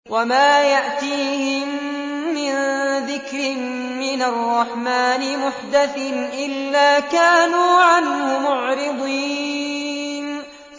وَمَا يَأْتِيهِم مِّن ذِكْرٍ مِّنَ الرَّحْمَٰنِ مُحْدَثٍ إِلَّا كَانُوا عَنْهُ مُعْرِضِينَ